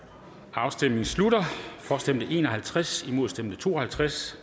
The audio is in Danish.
afstemningen slutter for stemte en og halvtreds imod stemte to og halvtreds